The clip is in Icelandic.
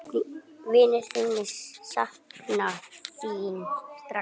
Vinir þínir sakna þín sárt.